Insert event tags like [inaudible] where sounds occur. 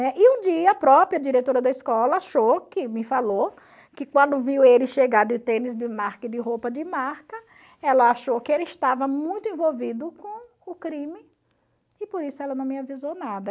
[unintelligible] E um dia a própria diretora da escola achou, que me falou, que quando viu ele chegar de tênis de marca e de roupa de marca, ela achou que ele estava muito envolvido com o crime e por isso ela não me avisou nada.